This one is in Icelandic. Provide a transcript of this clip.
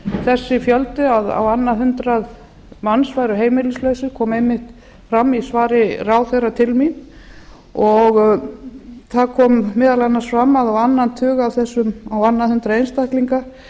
þessi fjöldi á annað hundrað manns væru heimilislausir kom einmitt fram í svari ráðherra til mín og það kom meðal annars fram að á annað hundrað einstaklinga